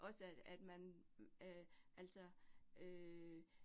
Også at at man øh altså øh